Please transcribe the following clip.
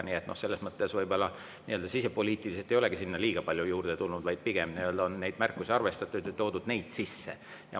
Nii et selles mõttes võib-olla nii-öelda sisepoliitiliselt ei olegi sinna liiga palju juurde tulnud, pigem on neid märkusi arvestatud ja neid sisse pandud.